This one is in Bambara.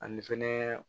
Ani fɛnɛ